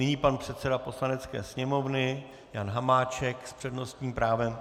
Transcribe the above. Nyní pan předseda Poslanecké sněmovny Jan Hamáček s přednostním právem.